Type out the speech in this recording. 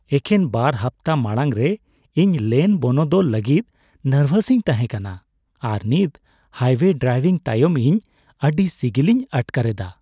ᱮᱠᱷᱮᱱ ᱵᱟᱨ ᱦᱟᱯᱛᱟ ᱢᱟᱲᱟᱝᱨᱮ, ᱤᱧ ᱞᱮᱱ ᱵᱚᱱᱚᱫᱚᱞ ᱞᱟᱹᱜᱤᱫ ᱱᱟᱨᱵᱷᱟᱥᱤᱧ ᱛᱟᱦᱮᱸ ᱠᱟᱱᱟ, ᱟᱨ ᱱᱤᱛ ᱦᱟᱭᱳᱭᱮ ᱰᱨᱟᱝᱵᱷᱤᱝ ᱛᱟᱭᱚᱢ ᱤᱧ ᱟᱹᱰᱤ ᱥᱤᱜᱤᱞᱤᱧ ᱟᱴᱠᱟᱨ ᱮᱫᱟ ᱾